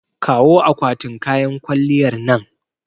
Kawo akwatin kayan kwalliyar nan.